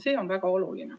See on väga oluline.